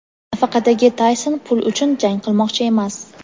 Nafaqadagi Tayson pul uchun jang qilmoqchi emas.